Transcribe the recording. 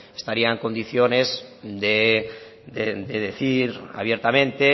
estaría en condiciones de decir abiertamente